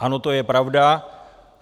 Ano, to je pravda.